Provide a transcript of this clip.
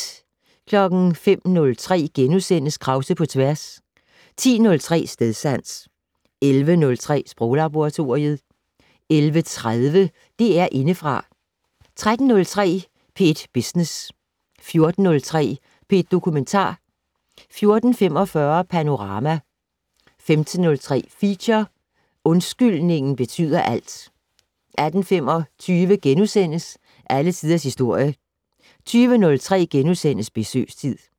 05:03: Krause på tværs * 10:03: Stedsans 11:03: Sproglaboratoriet 11:30: DR Indefra 13:03: P1 Business 14:03: P1 Dokumentar 14:45: Panorama 15:03: Feature: Undskyldningen betyder alt 18:25: Alle Tiders Historie * 20:03: Besøgstid *